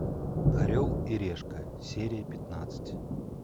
орел и решка серия пятнадцать